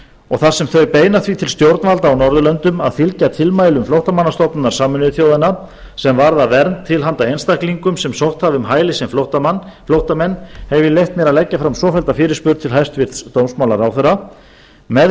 og þar sem þau beina því til stjórnvalda á norðurlöndum að fylgja tilmælum flóttamannastofnunar sameinuðu þjóðanna sem varðar vernd til handa einstaklingum sem sótt hafa um hæli sem flóttamenn hef ég leyft mér að leggja fram svofellda fyrirspurn til hæstvirts dómsmálaráðherra með